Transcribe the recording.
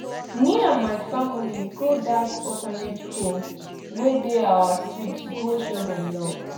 me and my family go dat orphanage home wey dey our street go show dem love